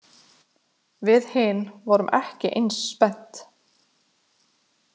Við hin vorum ekki eins spennt.